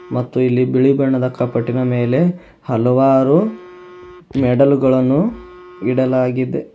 ಮತ್ತು ಇಲ್ಲಿ ಬಿಳಿ ಬಣ್ಣದ ಕಪಟಿನ ಮೇಲೆ ಹಲವಾರು ಮೆಡಲ್ ಗಳನ್ನು ಇಡಲಾಗಿದೆ.